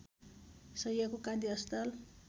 शैय्याको कान्ति अस्पताल